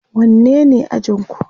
wanne ne ajinku?